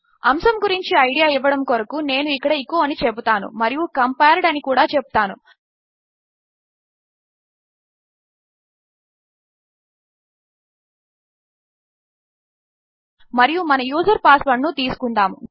అంశము గురించి ఐడియా ఇవ్వడము కొరకు నేను ఇక్కడ ఎచో అని చెపుతాను మరియు కంపేర్డ్ అని కూడా చెపుతాను మరియు మన యూజర్ పాస్వర్డ్ ను తీసుకుందాము